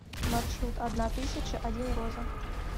маршрут одна тысяча один роза